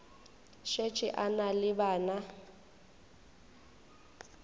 šetše a na le bana